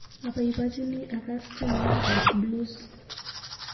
Abaibaichini akas tyenwogikap blues.